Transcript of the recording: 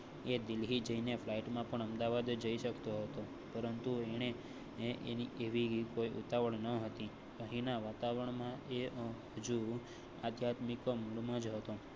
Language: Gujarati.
એ દિલ્હી જઈ ને flight માં પણ અમદાવાદ જઈ શકતો હતો, પરંતુ એણે એવી ઉતાવળ ન હતી અહીંના વાતાવરણ આધ્યાત્મિક ઓ માં હતો